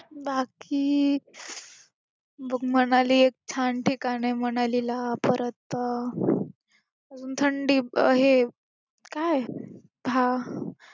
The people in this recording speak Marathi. बाकी बघ मनाली एक छान ठिकाण आहे, मनालीला परत थंडी हे काय हा